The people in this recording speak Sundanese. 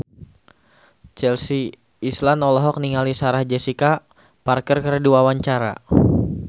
Chelsea Islan olohok ningali Sarah Jessica Parker keur diwawancara